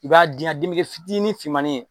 I b'a den ye a den bɛ fitini finmanin ye.